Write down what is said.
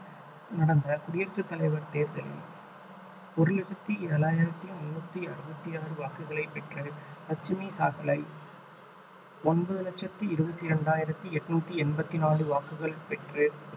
நடந்த குடியரசுத் தலைவர் தேர்தலில் ஒரு லட்சத்தி ஏழாயிரத்தி முன்னூத்தி அறுபத்தி ஆறு வாக்குகளை பெற்று லட்சுமி சாகலை ஒன்பது லட்சத்தி இருபத்தி இரண்டாயிரத்தி எண்ணூத்தி எண்பத்தி நாலு வாக்குகள் பெற்று